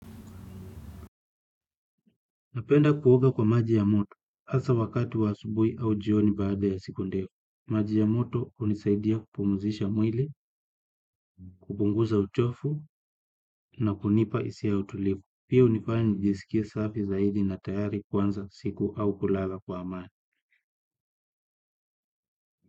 Napenda kuoga kwa maji ya moto hasa wakati wa asubui au jioni baada ya siku ndefu. Maji ya moto unisaidia kupumuzisha mwili, kupunguza uchofu na kunipa isia ya utulifu. Pia unifanya nijisikie safi zaidi na tayari kuanza siku au kulala kwa amani.